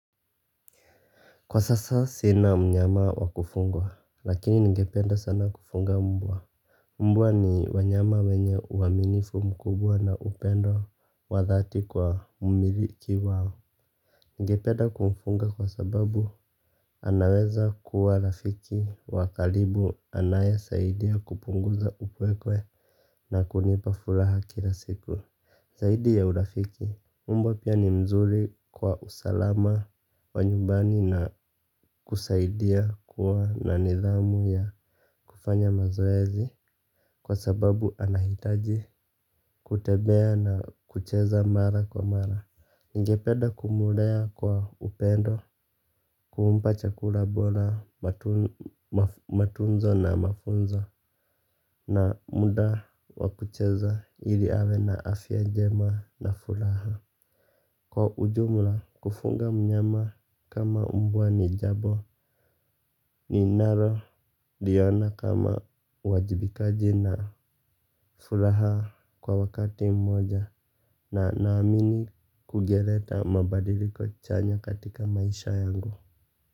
Kwa sasa sina mnyama wakufugwa, lakini ningependa sana kufuga mmbwa. Mmbwa ni wanyama wenye uaminifu mkubwa na upendo wa dhati kwa mmiliki wao. Ningependa kumfuga kwa sababu anaweza kuwa rafiki wa karibu anaye saidia kupunguza upweke na kunipa furaha kila siku. Zaidi ya urafiki, mbwa pia ni mzuri kwa usalama wa nyumbani na kusaidia kuwa na nidhamu ya kufanya mazoezi kwa sababu anahitaji kutembea na kucheza mara kwa mara. Ningepeda kumlea kwa upendo, kupa chakula bora matunzo na mafunzo na muda wa kucheza ili awe na afya njema na furaha. Kwa ujumla kufuga mnyama kama umbwa ni jambo ninalo, liona kama uajibikaji na furaha kwa wakati mmoja na naamini kungeleta mabadiliko chanya katika maisha yangu.